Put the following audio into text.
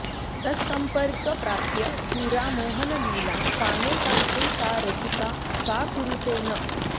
तत्सम्पर्क प्राप्य पुरा मोहनलीलां कामेकान्ते सा रसिका का कुरुते न